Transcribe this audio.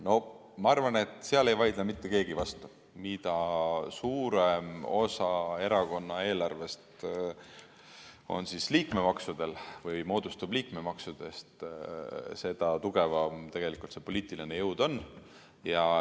Noh, ma arvan, et sellele ei vaidle mitte keegi vastu, et mida suurem osa erakonna eelarvest moodustub liikmemaksudest, seda tugevam see poliitiline jõud on.